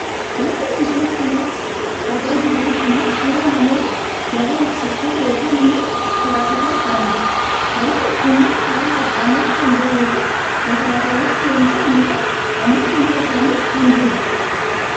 Wanti nuti suuraa kana irratti argaa jirru kun ammoo suuraa namoota nagaa eegsiftoota yookaan ammoo tiraafikii ta'aniiti. Namoonni kunneen karaa qaxxaamuraa kan jiraniifi konkolaataan fe'umsa uummata ammoo fuuldura isaanii kan jirudha.